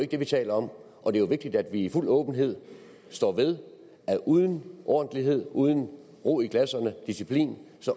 det vi taler om og det er jo vigtigt at vi i fuld åbenhed står ved at uden ordentlighed uden ro i klasserne og disciplin